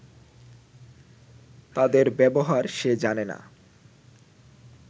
তাদের ব্যবহার সে জানে না